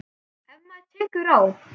Ef maður bara tekur á.